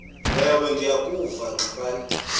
ewe ndiyakuva ngxabane